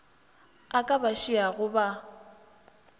a ka ba šiago ba